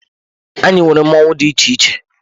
Anyị nwere mmọnwụ dị iche iche.